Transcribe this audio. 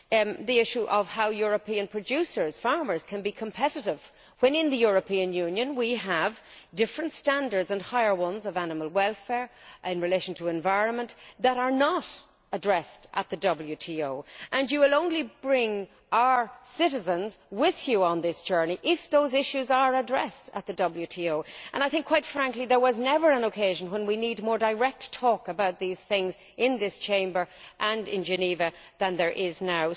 Another issue is how European producers farmers can be competitive when in the European Union we have different, higher, standards of animal welfare in relation to the environment, which are not addressed at the WTO. You will only bring our citizens with you on this journey if those issues are addressed at the WTO. Quite frankly, I think there was never an occasion when we needed direct discussion of these things in this Chamber, and in Geneva, more than we do now.